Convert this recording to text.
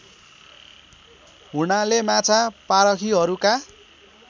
हुनाले माछा पारखीहरूका